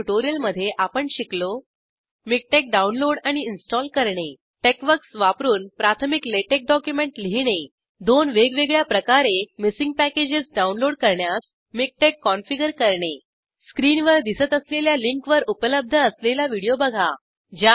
ह्या ट्युटोरिअल मध्ये आपण शिकलो मिकटेक्स डाऊनलोड आणि इंस्टॉल करणे टेक्सवर्क्स वापरून प्राथमिक लॅटेक्स डॉक्युमेंट लिहिणे २ वेगवेगळ्या प्रकारे मिसींग पॅकेजेस डाऊनलोड करण्यास मिकटेक्स कॉन्फिगर करणे स्क्रीनवर दिसत असलेल्या लिंकवर उपलब्ध असलेला व्हिडिओ बघा